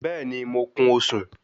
Bẹ́ẹ̀ni, mo kun osùn